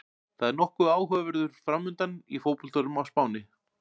Það er nokkuð áhugaverður framundan í fótboltanum á Spáni.